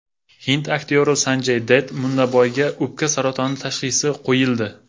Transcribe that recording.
Hind aktyori Sanjay Datt Munnaboyga o‘pka saratoni tashxisi qo‘yildi.